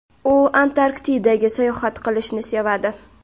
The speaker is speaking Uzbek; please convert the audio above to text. U Antarktidaga sayohat qilishni sevadi.